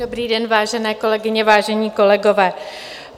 Dobrý den, vážené kolegyně, vážení kolegové.